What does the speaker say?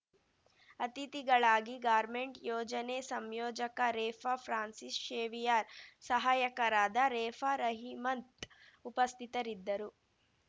ಅತಿಥಿಗಳಾಗಿ ಗಾರ್ಮೆಂಟ್‌ ಯೋಜನೆ ಸಂಯೋಜಕ ರೆಫಾ ಪ್ರಾನ್ಸಿಸ್‌ ಶೇವಿಯಾರ್‌ ಸಹಾಯಕರಾದ ರೆಫಾ ರಹಿಮಂತ್‌ ಉಪಸ್ಥಿತರಿದ್ದರು